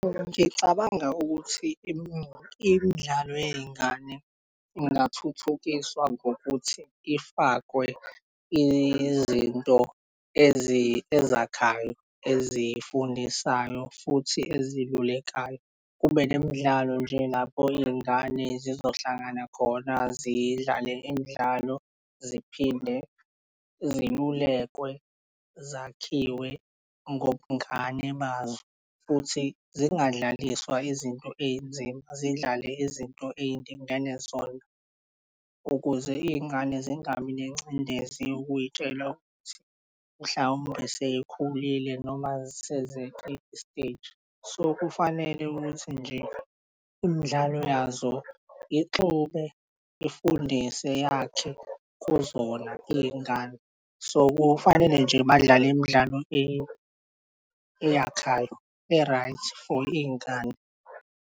Ngicabanga ukuthi imidlalo yey'ngane ingathuthukiswa ngokuthi ifakwe izinto ezakhayo ezifundisayo futhi ezilulekayo. Kube nemidlalo nje lapho iy'ngane zizohlangana khona zidlale imidlalo ziphinde zilulekwe, zakhiwe ngobungane bazo futhi zingadlaliswa izinto ey'nzima zidlale izinto eyilingene zona ukuze iy'ngane zingabi nengcindezi yokuyitshela ukuthi mhlawumbe seyikhulile noma sezeqe isteji. So kufanele ukuthi nje imidlalo yazo ixube ifundise yakhe kuzona iy'ngane, so kufanele nje badlale imidlalo nje eyakhayo, e-right for iy'ngane.